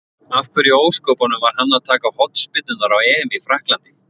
Af hverju í ósköpunum var hann að taka hornspyrnurnar á EM í Frakklandi?